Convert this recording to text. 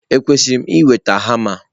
Ekwesịrị m ị nweta hama?